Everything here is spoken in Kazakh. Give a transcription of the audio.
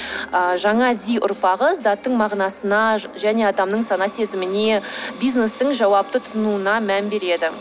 ыыы жана зи ұрпағы заттың мағынасына және адамның сана сезіміне бизнестің жауапты тұтынуына мән береді